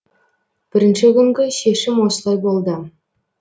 бірінші күнгі шешім осылай болды